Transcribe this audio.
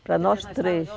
Para nós três.